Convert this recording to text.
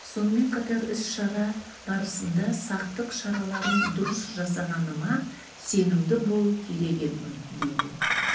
сонымен қатар іс-шара барысында сақтық шараларын дұрыс жасағаныма сенімді болу керек едім дейді